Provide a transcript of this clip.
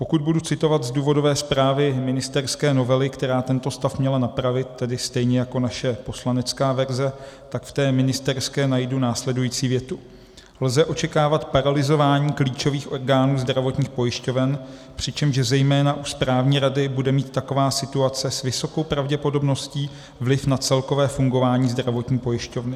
Pokud budu citovat z důvodové zprávy ministerské novely, která tento stav měla napravit, tedy stejně jako naše poslanecká verze, tak v té ministerské najdu následující větu: Lze očekávat paralyzování klíčových orgánů zdravotních pojišťoven, přičemž zejména u správní rady bude mít taková situace s vysokou pravděpodobností vliv na celkové fungování zdravotní pojišťovny.